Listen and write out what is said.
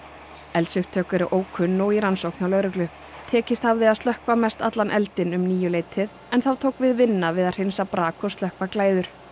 eldsupptök eru ókunn og í rannsókn hjá lögreglu tekist hafði að slökkva mestallan eldinn um níu leytið en þá tók við vinna við að hreinsa brak og slökkva glæður